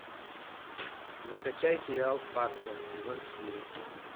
закачай сериал фарца сезон четыре